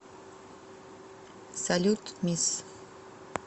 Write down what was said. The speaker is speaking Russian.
салют мисс